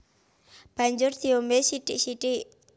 Banjur diombé sithik sithik